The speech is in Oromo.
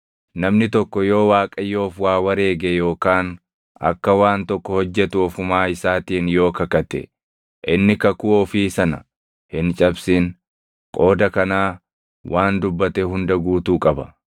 Namni tokko yoo Waaqayyoof waa wareege yookaan akka waan tokko hojjetu ofumaa isaatiin yoo kakate, inni kakuu ofii sana hin cabsin; qooda kanaa waan dubbate hunda guutuu qaba.